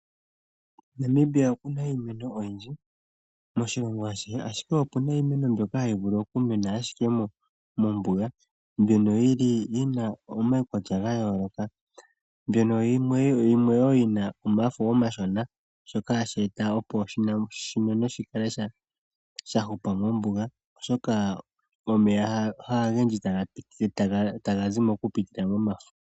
Namibia okuna iimeno oyindji moshilongo ashihe, ashike okuna iimeno mbyoka hayi vulu oku mena ashike mombuga mbyono yina omaukwatya ga yooloka, mbyono wo yina omafo omashona shoka hashi eta opo oshimeno shi kale sha hupa mombuga, oshoka omeya kageshi ogendji taga zi mo oku pitila momafo.